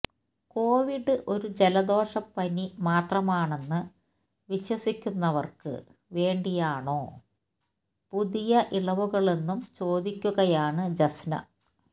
Covid ഒരു ജലദോഷപ്പനി മാത്രമാണെന്ന് വിശ്വസിക്കുന്നവര്ക്ക് വേണ്ടിയാണോ പുതിയ ഇളവുകളെന്നും ചോദിക്കുകയാണ് ജസ്ന